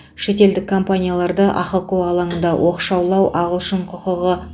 шетелдік компанияларды ахқо алаңында оқшаулау ағылшын құқығы